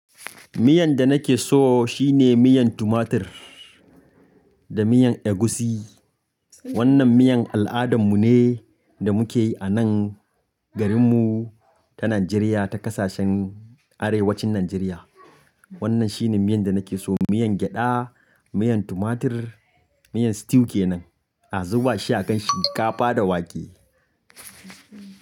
Miyan da nake so shine miyan tumatur da miyan egusi. Wannan miyan al'adan mu ne da muke yi a nan garin mu ta Najeriya, ta ƙasashen Arewacin Najeriya. Wannan shine miyan da nake so, miyan gyaɗa, miyan tumatur, miyan stew kenan. A zuba shi akan shinkafa da wake.